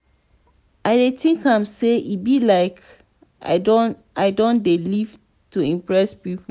i dey tink am sey e be like i don dey live to impress pipu.